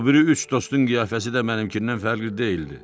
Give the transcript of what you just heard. O biri üç dostun qiyafəsi də mənimkindən fərqli deyildi.